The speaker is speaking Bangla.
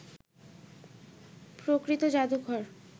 প্রকৃত জাদুঘর